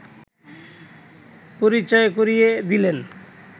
পরিচয় করিয়ে দিলেন